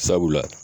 Sabula